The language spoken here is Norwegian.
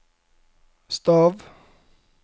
stav